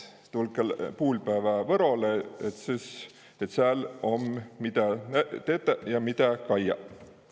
Tulkõ puulpäävä Võrolõ ja sääl om midä tetä ja midä kaija.